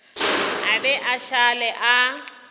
a be a šale a